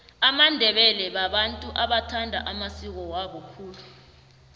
amandebele babantu abathanda amasiko wabo khulu